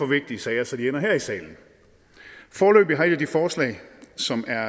vigtige sager så de ender her i salen foreløbig har et af de forslag som er